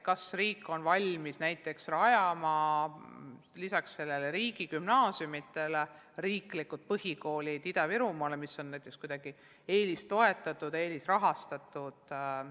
Kas riik on valmis näiteks rajama lisaks riigigümnaasiumidele ka riiklikud põhikoolid Ida-Virumaale, mis on kuidagi eelistoetatud, eelisrahastatud?